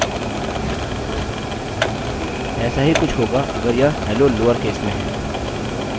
ऐसा ही कुछ होगा अगर यह hello लोअरकेस में है